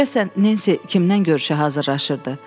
Görəsən Nensi kimdən görüşə hazırlaşırdı?